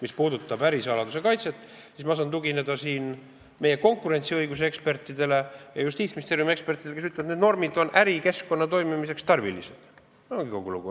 Mis puudutab ärisaladuse kaitset, siis ma saan tugineda meie konkurentsiõiguse ekspertidele ja Justiitsministeeriumi ekspertidele, kes ütlevad, et need normid on ärikeskkonna toimimiseks tarvilised, ja ongi kogu lugu.